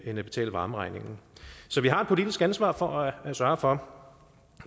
at betale varmeregningen så vi har et politisk ansvar for at sørge for